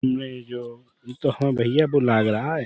مے جو ی تو ہے ہو رہا ہے۔